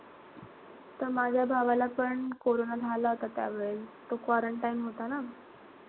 त माझ्या भावाला पण कोरोना झाला होता त्यावेळेस. तो quarantine होता ना.